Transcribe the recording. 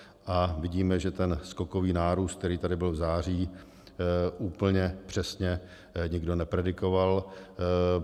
A vidíme, že ten skokový nárůst, který tady byl v září, úplně přesně nikdo nepredikoval.